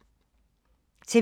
TV 2